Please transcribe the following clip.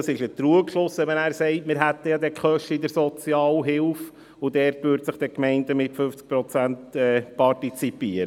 Es ist ein Trugschluss, wenn man sagt, wir hätten ja dann die Kosten in der Sozialhilfe und dort würden die Gemeinden mit 50 Prozent partizipieren.